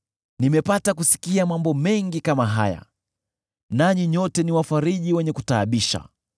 “Nimepata kusikia mambo mengi kama haya, nanyi nyote ni wafariji wenye kutaabisha!